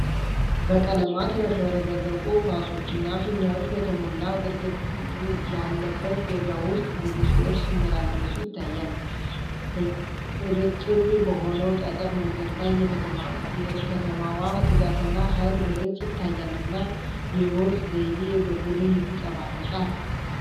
በቀለማት ያሸበረቁ ኳሶች እና ፊኛዎች በተሞላ ግርግር ያለበት ገበያ ውስጥ ብዙ ሰዎች ሲመላለሱ ይታያል። እርጥብ በሆነው ጠጠር መንገድ ላይ የከተማዋ ትጋትና ኃይል በግልጽ ይታያልና የህይወት ዘይቤ በጉልህ ይንጸባረቃል።